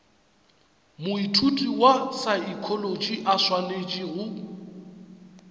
moithuti wa saekholotši a swanetšego